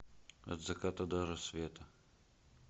от заката до рассвета